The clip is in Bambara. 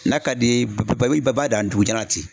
N'a ka d'i ye b'a b'a b'a i b'a i b'a dan dugujan na ten